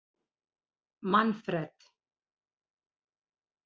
Manfred